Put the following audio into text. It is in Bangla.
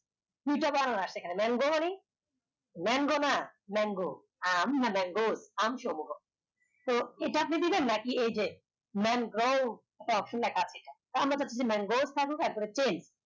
দু টা বানান আসতেছে এই খানে mango honey mango না mango আম না ম্যাগোর আম সহ হবে তো এটা আপনি দিবেন না কি এই যে ম্যাগগৌ option লেখা আছে এই খানে আমরা চাচ্ছি ম্যাংগৌর